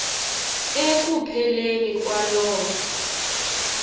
eku pheleni kwaloo